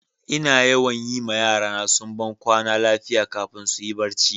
Ina yawan yi ma yara na sumban kwana lafiya kafin su yi barci.